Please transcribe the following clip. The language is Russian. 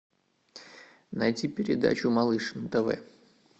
найти передачу малыш нтв